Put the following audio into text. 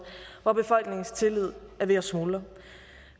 hvor befolkningens tillid er ved at smuldre